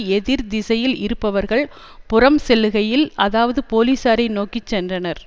எதிர்த்திசையில் இருப்பவர்கள் புறம் செல்லுகையில் அதாவது போலீசாரை நோக்கி சென்றனர்